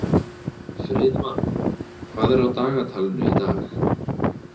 Friðmann, hvað er á dagatalinu í dag?